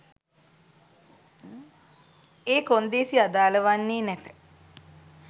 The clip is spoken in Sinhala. ඒ කොන්දේසි අදාල වන්නේ නැත